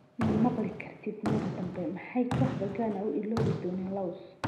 Ma maqli kartid mar dambe Maxay kooxda Ghana u iloobi doonin Luis Suarez?